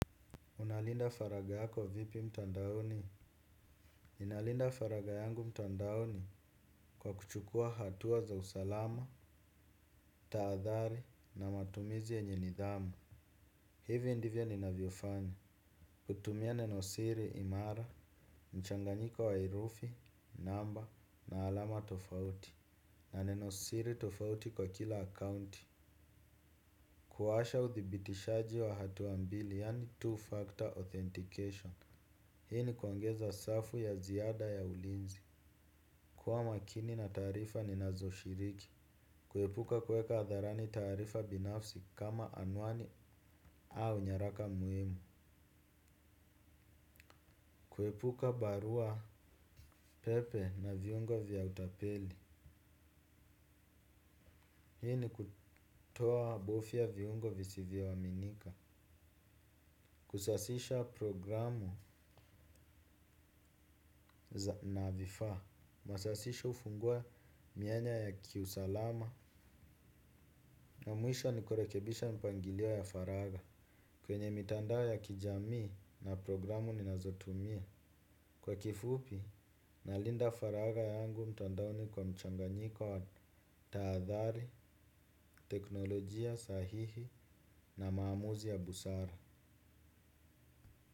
Unalinda faragayako vipi mtandaoni? Inalinda faragayangu mtandaoni kwa kuchukua hatuwa za usalama, taadhari na matumizi yenye nidhamu. Hivyo ndivyo ni naviofanya. Kutumia nenosiri imara, mchanganyika wa herufi, namba na alama tofauti. Na nenosiri tofauti kwa kila akaunti. Kuwasha uthibitishaji wa hatuambili yani two-factor authentication. Hii ni kuongeza safu ya ziada ya ulinzi. Kwa makini na tarifa ni nazo shiriki. Kuhepuka kweka atharani tarifa binafsi kama anwani au nyaraka muhimu. Kuhepuka barua pepe na viungo vya utapeli. Hii ni kutoa bofia viungo visivyo waminika. Kusasisha programu na vifa. Masasisho hufungua mianya ya kiusalama. Na muisho ni kurekebisha mpangilio ya faraga kwenye mitandao ya kijami na programu ninazotumia. Kwa kifupi, nalinda faraga yangu mtandaoni kwa mchanganyiko wa taadhari, teknolojia sahihi na maamuzi ya busara.